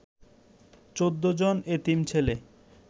১৪ জন এতিম ছেলে